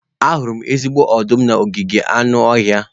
Ahụrụ m ezigbo ọdụm n'ogige anụ ọhịa.